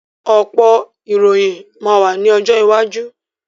Ọ̀pọ̀ ìròyìn máa wá ní ọjọ́ iwájú